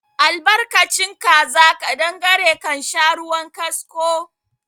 Albarkacin kaza ƙadangare kansha ruwan kasko